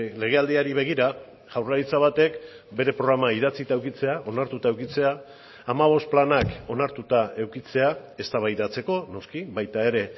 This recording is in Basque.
legealdiari begira jaurlaritza batek bere programa idatzita edukitzea onartuta edukitzea hamabost planak onartuta edukitzea eztabaidatzeko noski baita ere